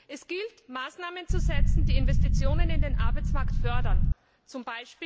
Es gilt, Maßnahmen zu setzen, die Investitionen in den Arbeitsmarkt fördern, z.